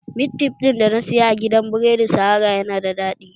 Mit fif ɗin da na saya a gidan biredi sahara yana da daɗi